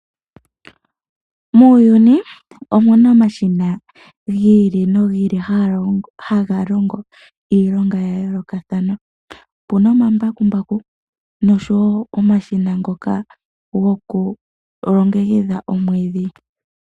Muuyuni omu na omashina gi ili nogi ili ngoka haga longo iilonga ya yoolokathana. Opu na omambakumbaku, nosho wo omashina ngoka goku longekidha omwiidhi.